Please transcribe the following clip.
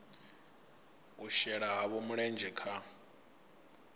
u shela havho mulenzhe kha